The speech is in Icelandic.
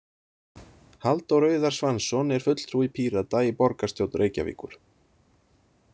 Halldór Auðar Svansson er fulltrúi Pírata í borgarstjórn Reykjavíkur.